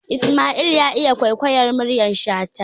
Isma'il ya iya kwaikwayar muryar shata